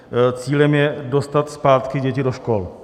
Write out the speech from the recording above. Cílem je dostat zpátky děti do škol.